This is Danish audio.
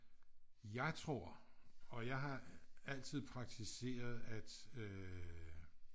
Jeg tror og jeg har altid praktiseret at øh